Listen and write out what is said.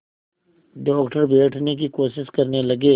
doctor बैठने की कोशिश करने लगे